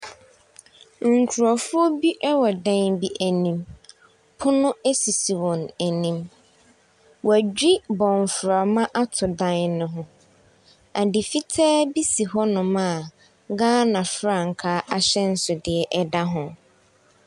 Nkurɔfoɔ bi wɔ dan bi anim. Pono sisi wɔn anim. Wɔadwi bɔmframa ato dan no ho. Adeɛ fitaa bi si hɔnom a Ghana frankaa ahyɛnsodeɛ da ho.